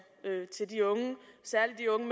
til de unge særlig de unge